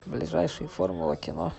ближайший формула кино